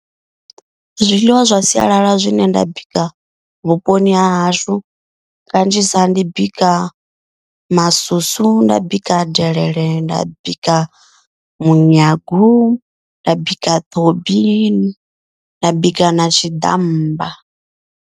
Zwiḽiwa zwa sialala zwine nda bika vhuponi ha hashu kanzhisa. Ndi bika masusu, nda bika delele, nda bika munyagu, nda bika ṱhobi nda bika na tshiḓammba.